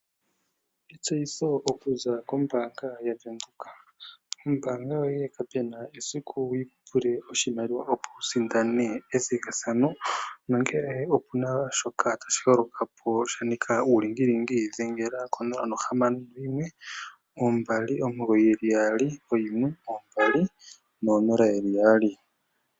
Etseyitho oku za kombaanga yaWindhoek. Oombanga yoye ka pe na esiku yi kupule oshimaliwa opo wu sindane ethigathano, nongele opena shoka tashi holoka po shanika uulingilingi dhengela ko0612991200.